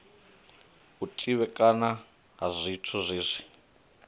u tevhekana ha zwithu hezwi